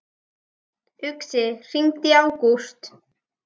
Uxi, hringdu í Ágúst.